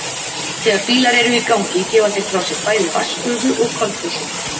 þegar bílar eru í gangi gefa þeir frá sér bæði vatnsgufu og koltvísýring